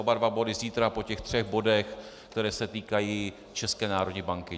Oba dva body zítra po těch třech bodech, které se týkají České národní banky.